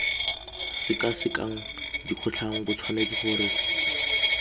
sekasekang dikgotlang bo tshwanetse gore